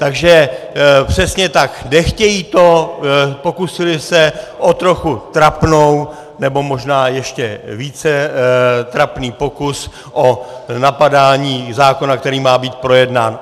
Takže přesně tak, nechtějí to, pokusili se o trochu trapnou, nebo možná ještě více trapný pokus o napadání zákona, který má být projednán.